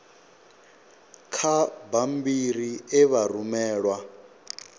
kha bammbiri e vha rumelwa